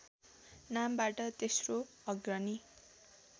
नामबाट तेस्रो अग्रणी